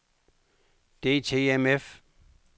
DTMF